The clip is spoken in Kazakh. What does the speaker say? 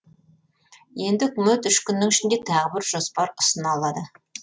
енді үкімет үш күннің ішінде тағы бір жоспар ұсына алады